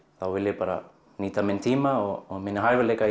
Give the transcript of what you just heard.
þá vil ég bara nýta minn tíma og mína hæfileika